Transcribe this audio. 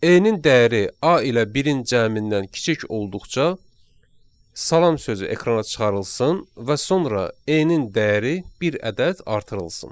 N-in dəyəri A ilə birin cəmindən kiçik olduqca salam sözü ekrana çıxarılsın və sonra N-in dəyəri bir ədəd artırılsın.